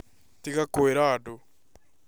Tiga kũira andũ